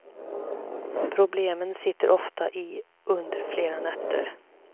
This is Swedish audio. Problemen sitter ofta i under flera nätter.